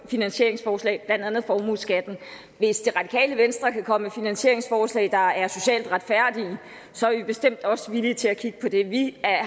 finansieringsforslag blandt andet formueskatten hvis det radikale venstre kan komme med finansieringsforslag der er socialt retfærdige så er vi bestemt også villige til at kigge på det vi